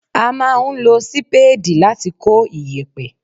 A máa ń lo Sípéèdì láti kó iyẹ̀pẹ̀.